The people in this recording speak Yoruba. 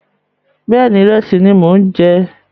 Bẹ́ẹ̀ni, ìrẹsì ni mò ń jẹ